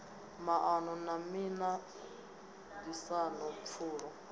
maṱano na miṱa ṱisano pfulo